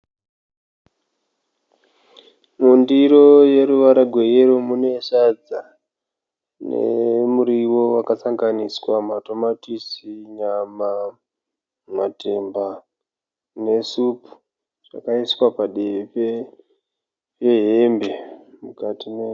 Mundiro yeruvara rweyero mune sadza nemuriwo wakasanganiswa matomatisi, nyama, matemba nesupu zvakaiswa padivi pehembe